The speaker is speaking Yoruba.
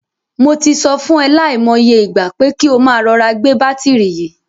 Mo ti sọ fún e lai mo iye ìgbà, pé kí o máa rọra gbé bátìrì yìí.